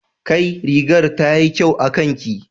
Kai! rigar tayi kyau akanki